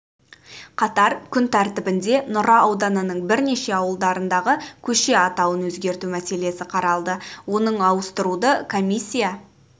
қатар күн тәртібінде нұра ауданының бірнеше ауылдарындағы көше атауын өзгерту мәселесі қаралды оның ауыстыруды комиссия